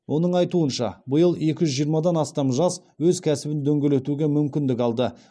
оның айтуынша биыл екі жүз жиырмадан астам жас өз кәсібін дөңгелетуге мүмкіндік алды